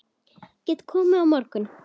Getiði komið á morgun?